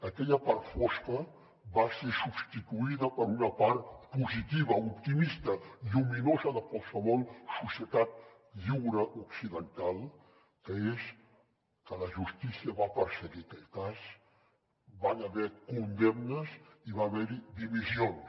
aquella part fosca va ser substituïda per una part positiva optimista lluminosa de qualsevol societat lliure occidental que és que la justícia va perseguir aquell cas hi van haver condemnes i van haver hi dimissions